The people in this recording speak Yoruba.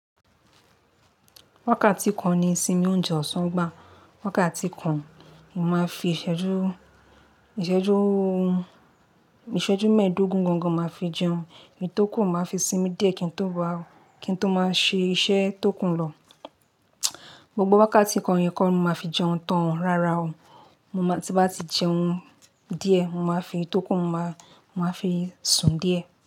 Wákàtí kan ni sinmi oúnjẹ ọ̀sán gbá, wákàtí kan mo máa fi ìṣẹ́jú, ìṣẹ́jú, ìṣẹ́jú mẹ́ẹ̀dógún gangan máa fi jẹun, èyí tó kù máa fi sinmi díẹ̀ kí n tó bá, kí n tó máa ṣe iṣẹ́ tó kù lọ. Gbogbo wákàtí kan yẹn kọ́ ni mo máa fi jẹun tán o rara o. Mo má ti ń bati jẹun díẹ̀, mo máa fi tó kù, mo máa fi sùn díẹ̀.